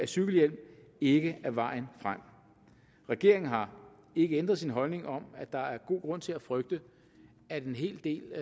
cykelhjelm ikke er vejen frem regeringen har ikke ændret sin holdning om at der er god grund til at frygte at en hel del